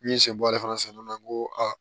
N'i ye sen bɔ ale fana sen dɔ la n ko aa